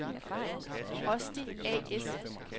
Rosti A/S